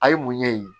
A ye munɲɛ in ye